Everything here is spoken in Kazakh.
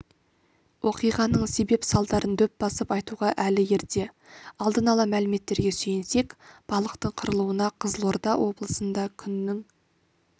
оқиғаның себеп-салдарын дөп басып айтуға әлі ерте алдын ала мәліметтерге сүйенсек балықтың қырылуына қызылорда облысында күннің